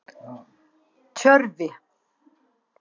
Tjörvi